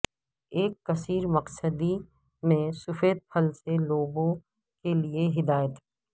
ایک کثیر مقصدی میں سفید پھل سے لوبو کے لئے ہدایت